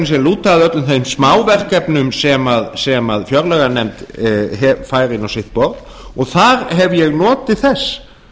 sem lúta að öllum þeim smáverkefnum sem fjárlaganefnd fær inn á sitt borð og þar hef ég notið þess